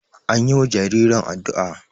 an yiwa jaririn addu'a